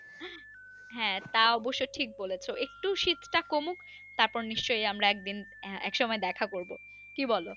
হ্যাঁ তা অবশ্য ঠিক বলছো একটু শীতটা কমুক তারপর নিশ্চই আমরা একদিন একসময় দেখা করবো কি বলো?